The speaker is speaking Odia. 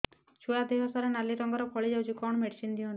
ଛୁଆ ଦେହ ସାରା ନାଲି ରଙ୍ଗର ଫଳି ଯାଇଛି କଣ ମେଡିସିନ ଦିଅନ୍ତୁ